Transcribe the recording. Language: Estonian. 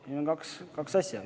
Meil on kaks asja.